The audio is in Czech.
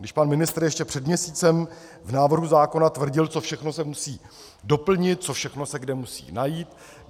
Když pan ministr ještě před měsícem v návrhu zákona tvrdil, co všechno se musí doplnit, co všechno se kde musí najít.